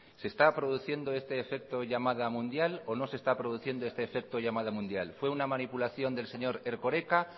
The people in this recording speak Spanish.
se está produciendo este efecto llamada mundial o no se está produciendo este efecto llamada mundial fue una manipulación del erkoreka